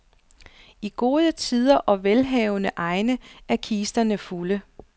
I gode tider og velhavende egne er kisterne fulde.